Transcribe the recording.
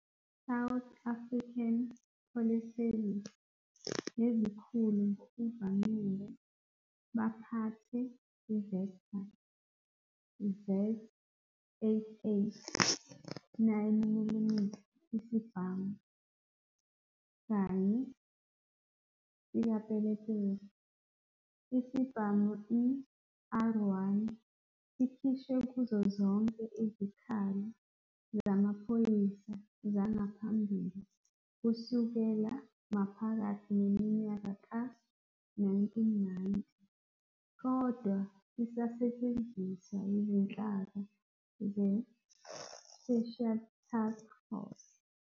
South African Police Service nezikhulu ngokuvamile baphathe Vektor Z88 9mm isibhamu kanye sikapelepele. Isibhamu i-R1 sikhishwe kuzo zonke izikhali zamaphoyisa zangaphambili kusukela maphakathi neminyaka yama-1990, kodwa sisasetshenziswa yizinhlaka zeSpecial Task Force.